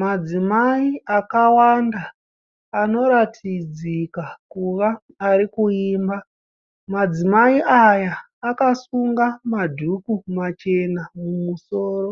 Madzimayi akawanda anoratidzikakuva arikuimba. Madzimayi aya akasunga madhuku machena mumusoro.